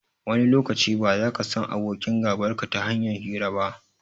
Wani lokaci, ba zaka san abokin gabarka ta hanyar hira ba.